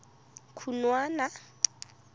khunwana